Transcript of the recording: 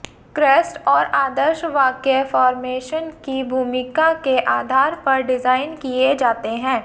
crest और आदर्श वाक्य फॉर्मेशन की भूमिका के आधार पर डिजाइन किए जाते हैं